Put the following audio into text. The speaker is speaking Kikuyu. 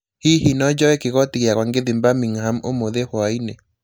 Hihi no njoe kigoti yakwa ngĩthiĩ Birmingham ũmũthĩ hwaĩinĩ